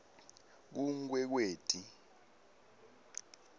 kunkwekweti